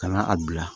Ka na a bila